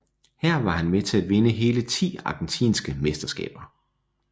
Her var han med til at vinde hele ti argentinske mesterskaber